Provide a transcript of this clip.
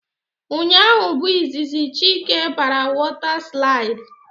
Ụnyaahụ bụ izizi Chike bara wota slaidi